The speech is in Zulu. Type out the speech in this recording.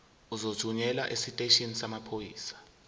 uzothunyelwa esiteshini samaphoyisa